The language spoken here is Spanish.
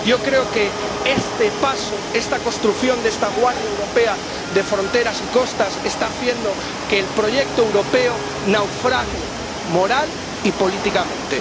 Yo creo que este paso, esta construcción de esta Guardia Europea de Fronteras y Costas, está haciendo que el proyecto europeo naufrague moral y políticamente.